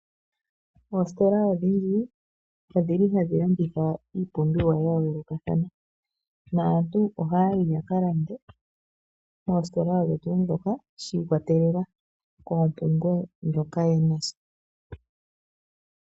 Oositola odhindji odhili hadhi landitha iipumbiwa ya yoolokathana. Naantu ohaya yi ya ka lande moositola odho tuu ndhoka shi ikwatelela koompumbwe ndhoka ye na sha.